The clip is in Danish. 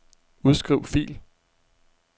Udskriv fil.